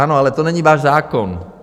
Ano, ale to není váš zákon.